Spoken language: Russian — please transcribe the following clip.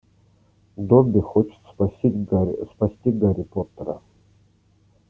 добби хочет спасти гарри спросить гарри поттера